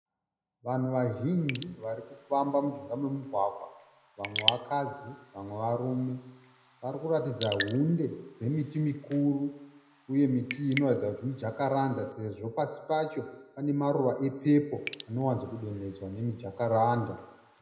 Vanhu vazhinji varikufamba mujinga memugwagwa. Vamwe vakadzi vamwe varume. Parikuratidza hunde dzemiti mikuru uye miti iyi inoratidza kuti mijakaranda sezvo pasi pacho pane maruva epepo anowanzodonhedzwa nemiti yomujakaranda.